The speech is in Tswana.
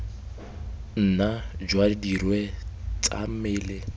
nna jwa dirwe tsa mmele